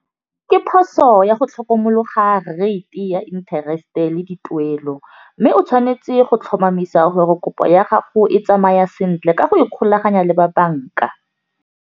Ke phoso ya go tlhokomologa rate ya interest-e le dituelo, mme o tshwanetse go tlhomamisa gore kopo ya gago e tsamaya sentle ka go ikgolaganya le ba banka.